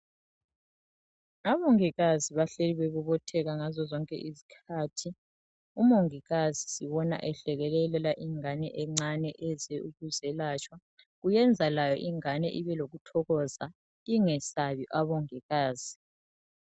Abongikazi bahleli bebobotheka ngazozonke izikhathi. Umongikazi sibona ehlekelelela ingane encane eze ukuzelatshwa. Kuyenza layo ingane ibe lokuthokoza ingesabi abongikazi.